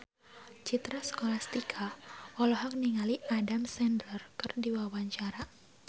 Citra Scholastika olohok ningali Adam Sandler keur diwawancara